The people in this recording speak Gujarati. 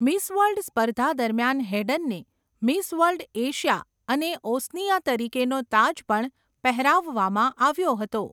મિસ વર્લ્ડ સ્પર્ધા દરમિયાન હેડનને 'મિસ વર્લ્ડ એશિયા અને ઓસનિયા' તરીકેનો તાજ પણ પહેરાવવામાં આવ્યો હતો.